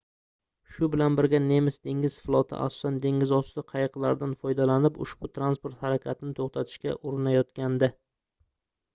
shu bilan birga nemis dengiz floti asosan dengizosti qayiqlaridan foydalanib ushbu transport harakatini toʻxtatishga urinayotgandi